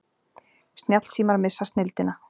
Snjallsímar missa snilldina